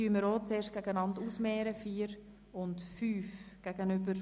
Diese stellen wir einander zuerst gegenüber.